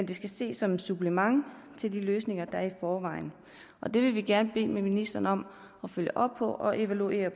det skal ses som et supplement til de løsninger der er i forvejen det vil vi gerne bede ministeren om at følge op på og evaluere